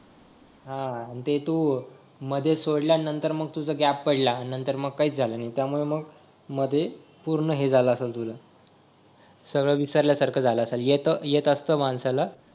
हा हा आणि ते तू मध्ये सोडल्यानंतर मग ती तुझा गॅप पडला मग नंतर काय झालं नाही त्यामुळे मग मध्ये पूर्ण हे झालं असल तुझ सगळं विसरल्यासारखं झालं असल येत येत असत माणसाला